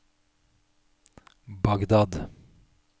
Bagdad